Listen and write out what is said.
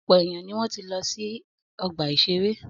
Ọ̀pọ̀ èèyàn ni wọ́n ti lọ sí ọgbà-ìṣeré